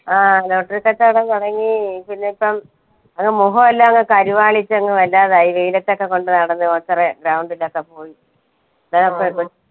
ആ lottery കച്ചോടം തുടങ്ങി പിന്നെ ഇപ്പം അങ്ങ് മുഖോ എല്ലാം അങ്ങ് കരുവാളിച്ച് അങ്ങ് വല്ലാതായി വെയിലത്തൊക്കെ കൊണ്ട് നടന്ന് ground ലൊക്കെ പോയി